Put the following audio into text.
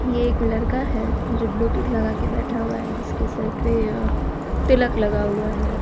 ये एक लड़का है जो ब्लूतूथ लगा के बैठा हुआ है जिसके सर पे अ तिलक लगा हुआ है।